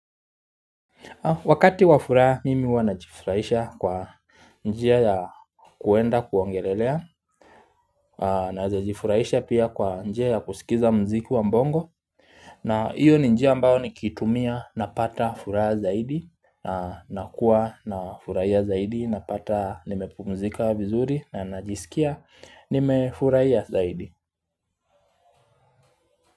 Wakati wa furaha, mimi huwa najifurahisha kwa njia ya kuenda kuongelelea, naeza jifurahisha pia kwa njia ya kusikiza mziki wa bongo. Na iyo ni njia ambayo nikitumia napata furaha zaidi, na kuwa na furahia zaidi, na pata nimepumzika vizuri na najisikia, nime fura ya zaidi.